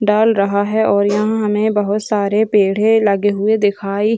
डाल रहा है और हमें यहाँ बहुत सारे पेड़े लगे हुए दिखाई --